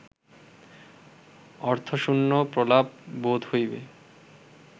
অর্থশূন্য প্রলাপ বোধ হইবে